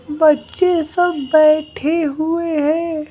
बच्चे सब बैठे हुए हैं।